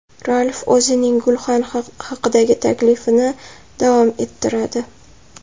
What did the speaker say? Ralf o‘zining gulxan haqidagi taklifini davom ettiradi.